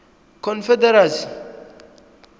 confederacy